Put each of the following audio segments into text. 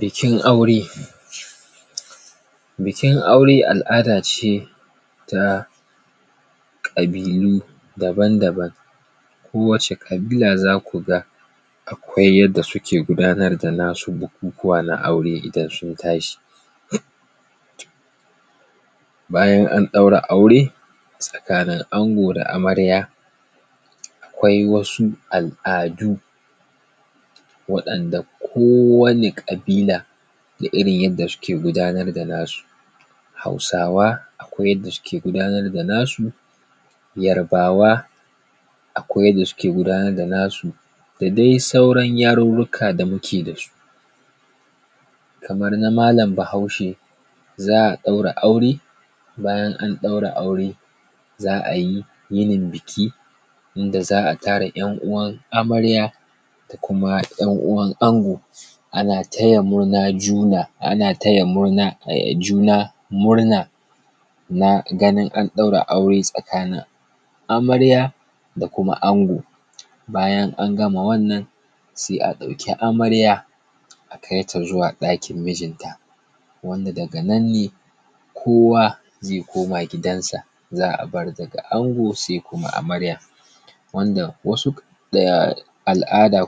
Bikin aure bikin aure al’ada ce ta ƙabilu daban daban, kowace ƙabila za ku ga akwai yanda suke gudanar da na su bukukuwa na aure idan sun tashi. Bayan an ɗaura aure tsakanin ango da amarya akwai wasu al’adu waɗanda kowane ƙabila da irin yanda suke gudanar da na su. Hausawa akwai yanda suke gudanar da nasu, yarbawa akwai yanda suke gudanar da nasu, da dai sauran yarurruka da muke da su. Kamar na mallam bahaushe, za a ɗaura aure, bayan an ɗaura aure za a yi yinin biki inda za a tara ‘yan uwan amarya da kuma ‘yan uwan ango ana taya juna murna na ganin an ɗaura aure tsakanin amarya da kuma ango. Bayan an gama wannan sai a ɗauki amarya a kaita zuwa ɗakin mijinta wanda daganan ne kowa zai koma gidan sa, za a bar daga ango sai kuma amarya. Wanda wasu al’ada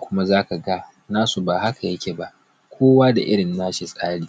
nasu ba haka ya ke ba kowa da irin na shi tsarin.